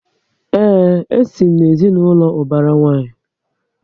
Ee, e si m na ezinaụlọ ubara nwanyi